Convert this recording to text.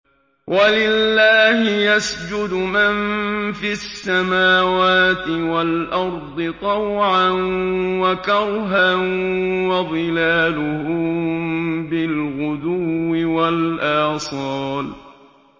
وَلِلَّهِ يَسْجُدُ مَن فِي السَّمَاوَاتِ وَالْأَرْضِ طَوْعًا وَكَرْهًا وَظِلَالُهُم بِالْغُدُوِّ وَالْآصَالِ ۩